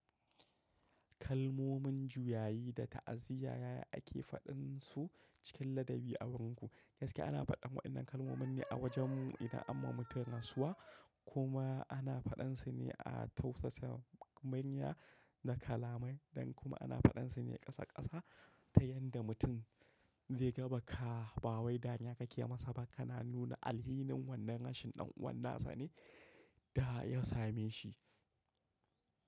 Kalmomin juyayi da ta’aziyya yaya ake faɗin su cikin ladabi a wurinku? Gaskiya ana faɗan waɗannan kalmomin ne a wajen mu idan anma mutum rasuwa kuma ana faɗan su ne a tausasa murya da kalamai, dan kuma ana faɗan su ne ƙasa ƙasa ta yadda mutum zaiga baka, ba wai da dariya kake masa ba kana nuna alhinin wannan rashin ɗan'uwansa ne da ya same shi.